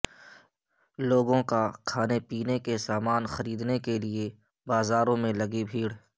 لوگ کھانے پینے کے سامان خریدنے کے لئے بازاروں میں لگی بھیڑ